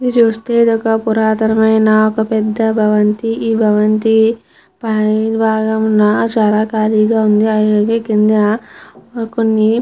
ఇది చూస్తే ఇది ఒక పురాతన మైన ఒక భవంతి. ఈ భవంతి పై భాగమున చాలా ఖాళీగా ఉంది. అలాగే కింద కొన్ని--